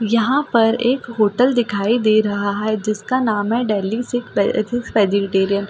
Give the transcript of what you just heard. यहाँ पर एक होटल दिखाई दे रहा है जिसका नाम है दिल्ली सिक्स सिक्स वेजिटेरियन--